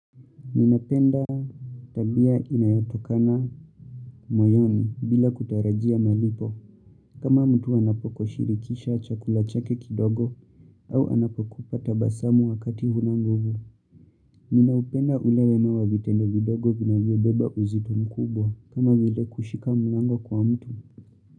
Ninapenda tabia inayatokana moyoni bila kutarajia malipo. Kama mtu anapokushirikisha chakula chake kidogo au anapokupa tabasamu wakati hunanguvu. Ninaupenda ule wema wa vitendo vidogo vinavyobeba uzito mkubwa kama vile kushika mlango kwa mtu.